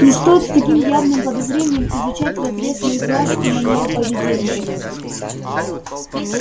не стоит с таким явным подозрением изучать разрез моих глаз и манеру поведения